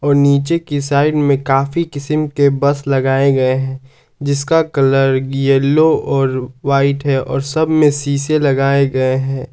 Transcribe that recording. नीचे के साइड में कॉफी किसीम के बस लगाया गए हैं जिसका कलर येलो और वाइट है और सब मे शीशे लगाए गए है।